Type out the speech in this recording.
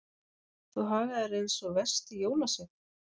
Þú hagar þér eins og versti jólasveinn.